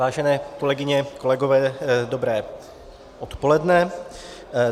Vážené kolegyně, kolegové, dobré odpoledne.